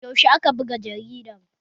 Yaushe aka buga jaridar?